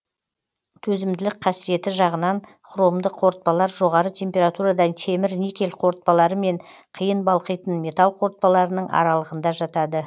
төзімділік қасиеті жағынан хромды қорытпалар жоғары температурада темір никель қорытпалары мен қиын балқитын металл қорытпаларының аралығында жатады